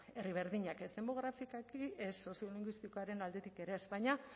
herri berdinak ez demografikoki ez soziolinguistikoaren aldetik ere baina